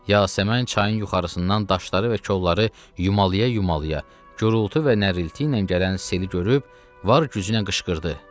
Yasəmən çayın yuxarısından daşları və kolları yumalaya-yumalaya, gurultu və nərilti ilə gələn seli görüb var gücüylə qışqırdı.